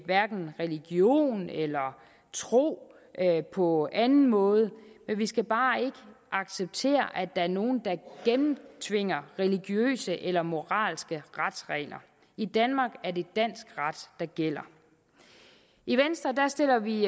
religion eller tro på anden måde vi vi skal bare ikke acceptere at der er nogle der gennemtvinger religiøse eller moralske retsregler i danmark er det dansk ret der gælder i venstre sætter vi